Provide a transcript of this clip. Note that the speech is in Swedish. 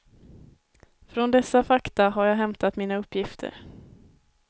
Från dessa fakta har jag hämtat mina uppgifter.